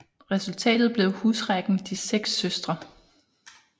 Resultatet blev husrækken De seks Søstre